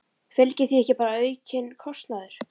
Fylgir því ekki bara aukinn kostnaður?